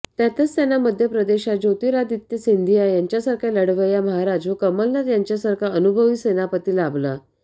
त्यातच त्यांना मध्यप्रदेशात ज्योतिरादित्य सिंधिया यांच्यासारखा लढवय्या महाराज व कमलनाथ यांच्यासारखा अनुभवी सेनापती लाभला